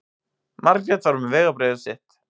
Margrét var með vegabréfið sitt.